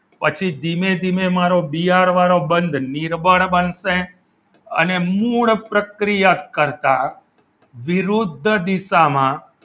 પછી ધીમે ધીમે બિયાર વાળો બંદ નિર્બળ બનશે અને મૂળ પ્રક્રિયા કરતા વિરુદ્ધ દિશા માં